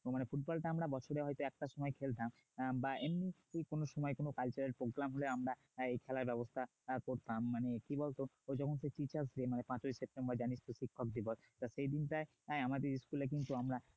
না মানে ফুটবলটা হয়তো আমরা বছরের হয়তো একটা সময় খেলতাম আহ বা এমনি যদি কোন সময় কোন cultural program হলে আমরা এই খেলার ব্যবস্থা আহ করতাম মানে কি বলতো পাঁচই সেপ্টেম্বর মানে জানিস তো শিক্ষক দিবস এই দিনটায় আমাদের school এ কিন্তু আমরা